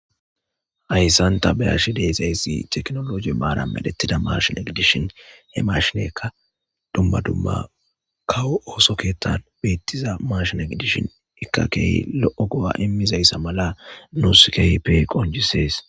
hayssanta beyashi deezayssi teknologi maara melettida marshina gidishin he marshinekka dumma dumma kawo ooso keettan beettiza marshina gidishin ikkakeehi lo'o go'a immizayssa mala nuus keypey qonjisees.